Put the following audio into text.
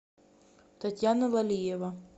татьяна валиева